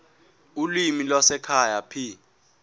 ulimi lwasekhaya p